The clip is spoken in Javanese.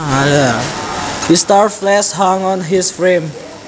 His starved flesh hung on his frame